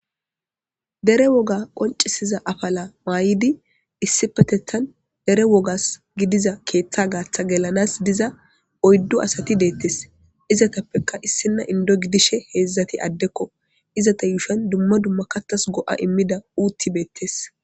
Dere woga qoncisiza affala mayidi issippetethan dere woga giliza keththa gatha geliza oydu assthi dethess. Izzathappekka issina Indo gidishin hezzathi adekko izzatha yushawan dumma dumma kathas goa' imida uththathi bethess.